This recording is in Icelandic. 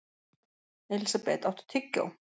Elísabeth, áttu tyggjó?